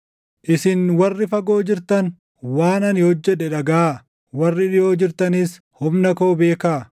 Isin warri fagoo jirtan waan ani hojjedhe dhagaʼaa; warri dhiʼoo jirtanis humna koo beekaa!